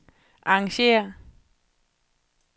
arrangér